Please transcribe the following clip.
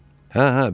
Hə, hə, bildim.